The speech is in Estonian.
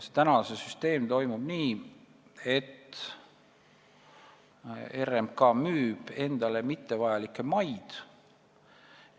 See süsteem toimib praegu nii, et RMK müüb endale mittevajalikke maid.